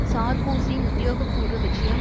சார்க்கோசியின் உத்தியோகபூர்வ விஜயம்